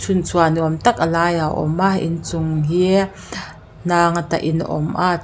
hlim chhuah nuam tak a laiah awm a in chung hi hnang a tahin a awm a.